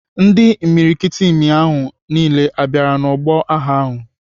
Ndị imikiriti imi amị ahụ niile ha bịara n'ọgbọ agha ahụ?